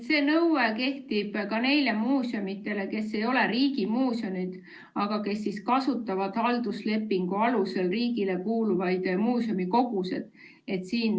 See nõue kehtib ka neile muuseumidele, mis ei ole riigimuuseumid, aga mis kasutavad halduslepingu alusel riigile kuuluvaid muuseumikogusid.